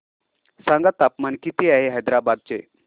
सांगा तापमान किती आहे हैदराबाद चे